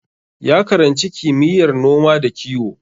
Ya karanci kimiyyar noma da kiwo.